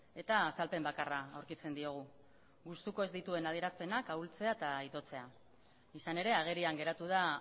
eta azalpen bakarra aurkitzen diogu gustuko ez dituen adierazpenak ahultzea eta itotzea izan ere agerian geratu da